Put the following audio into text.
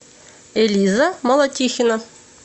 элиза молотихина